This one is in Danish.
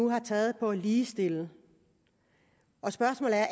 har taget for at ligestille og spørgsmålet er